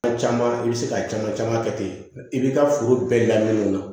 A caman i bɛ se ka caman caman kɛ ten i b'i ka foro bɛɛ labɛn o la